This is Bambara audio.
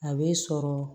A bɛ sɔrɔ